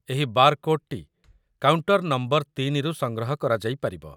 ଏହି ବାରକୋଡ୍‌‌ଟି କାଉଣ୍ଟର ନମ୍ବର-୩ରୁ ସଂଗ୍ରହ କରାଯାଇପାରିବ |